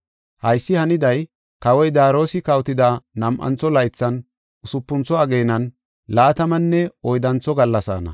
Haysi haniday kawoy Daariyosi kawotida nam7antho laythan, usupuntho ageenan laatamanne oyddantho gallasaana.